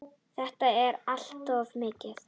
Þetta er allt of mikið!